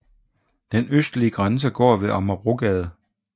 Den østlige grænse går ved Amagerbrogade